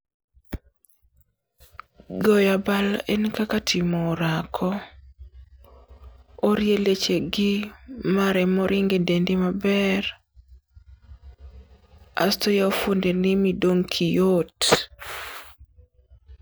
Goyabal en kaka timo orako. Orie lechegi ma remo ringe dendi maber, asto yao fwondeni midong' kiyot.